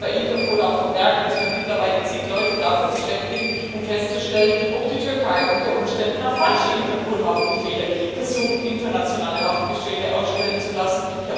Und ich möchte bei Interpol auch vermerken, dass wir mittlerweile zig Leute beschäftigen, um festzustellen, ob die Türkei unter Umständen nach falschen Interpol Haftbefehlen versucht, internationale Haftbefehle ausstellen zu lassen.